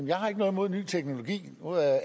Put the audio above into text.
jeg har ikke noget imod en ny teknologi nu er